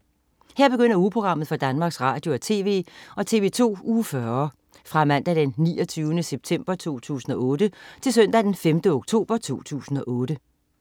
Her begynder ugeprogrammet for Danmarks Radio- og TV og TV2 Uge 40 Fra Mandag den 29. september 2008 Til Søndag den 5. oktober 2008